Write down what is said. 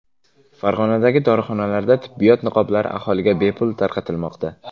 Farg‘onadagi dorixonalarda tibbiyot niqoblari aholiga bepul tarqatilmoqda.